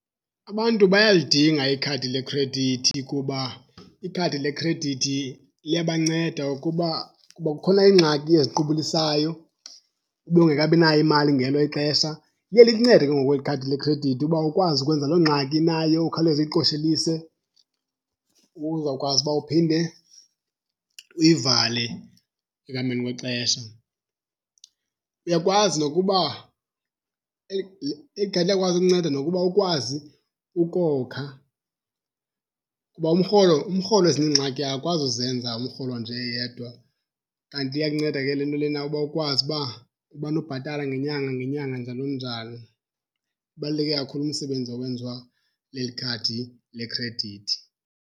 Abantu bayalidinga ikhadi lekhredithi kuba ikhadi lekhredithi liyabanceda ukuba kuba kukhona iingxaki eziqubulisayo ube ungakabinayo imali ngelo ixesha. Liye likuncede ke ngoku eli khadi lekhredithi uba ukwazi ukwenza loo ngxaki unayo ukhawuleze uyiqoshelise uzawukwazi uba uphinde uyivale ekuhambeni kwexesha. Uyakwazi nokuba eli khadi liyakwazi ukunceda nokuba ukwazi ukokha kuba umrholo umrholo ezinye iingxaki akakwazi uzenza umrholo nje eyedwa. Kanti iyakunceda ke le nto lena uba ukwazi uba umane ubhatala ngenyanga nangenyanga, njalo njalo. Ubaluleke kakhulu umsebenzi owenziwa leli khadi lekhredithi.